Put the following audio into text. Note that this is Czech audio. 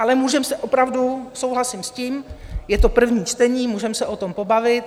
Ale můžeme se opravdu, souhlasím s tím, je to první čtení, můžeme se o tom pobavit.